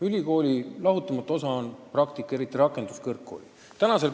Ülikooliõpingute lahutamatu osa on praktika, eriti rakenduskõrgkoolides.